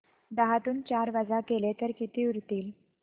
दहातून चार वजा केले तर किती उरतील